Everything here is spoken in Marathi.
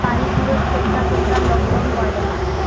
काही दिवस करता करता lockdown वाढल